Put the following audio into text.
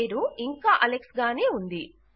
పేరు ఇంకా అలెక్స్ గానే ఉంది